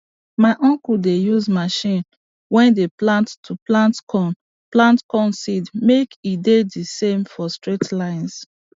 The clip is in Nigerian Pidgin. my uncle dey use machine way dey plant to plant corn plant corn seed make e dey the same for straight lines